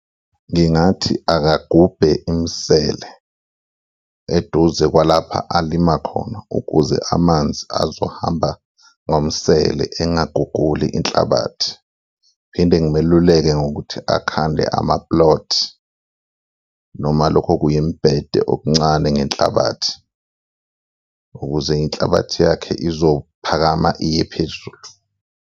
Ngingathi akagubhe imisele eduze kwalapha alima khona ukuze amanzi azohamba ngomsele, engaguguli inhlabathi phinde ngimeluleke ngokuthi akhande ama-plot noma lokho okuyimibhede okuncane ngenhlabathi ukuze inhlabathi yakhe izophakama iye phezulu.